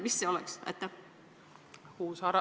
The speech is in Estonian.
Mis see võiks olla?